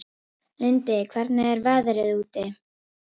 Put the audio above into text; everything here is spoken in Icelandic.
Lundi, hvernig er veðrið úti?